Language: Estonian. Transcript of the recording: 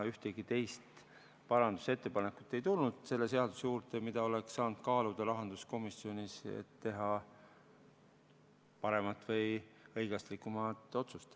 Ühtegi teist parandusettepanekut ei tulnud selle seaduse kohta, mida oleks saanud rahanduskomisjonis kaaluda, et teha paremat või õiglasemat otsust.